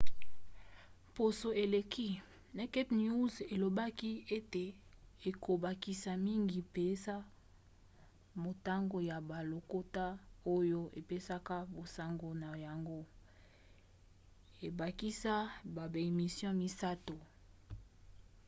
poso eleki naked news elobaki ete ekobakisa mingi mpenza motango ya balokota oyo epesaka basango na yango ebakisa baemission misato